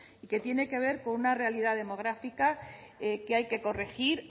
y que tiene que ver con una realidad demográfica que hay que corregir